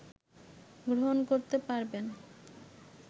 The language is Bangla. গ্রহণ করতে পারবেন